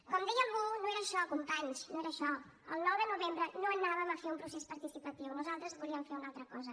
com deia algú no era això companys no era això el nou de novembre no anàvem a fer un procés participatiu nosaltres volíem fer una altra cosa